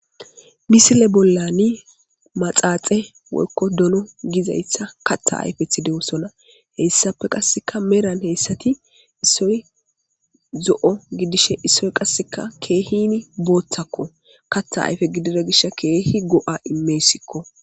Misile bollani maxaaxe woykko dolo gizaysha katta ayfeth dewosona heyssape qasseka meran heyssati issoy zo'o gidishe issoy qasseka keehini booththakko katta ayfe gidida gish keehi go'a imeesikko.